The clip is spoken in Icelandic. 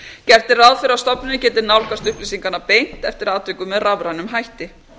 gert er ráð fyrir að stofnunin geti nálgast upplýsingarnar beint eftir atvikum með rafrænum hætti